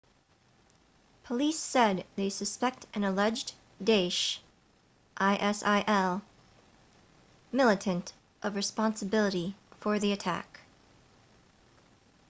police said they suspect an alleged daesh isil militant of responsibility for the attack